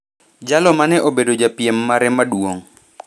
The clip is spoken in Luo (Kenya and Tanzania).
jalo mane obedo japiem mare maduong'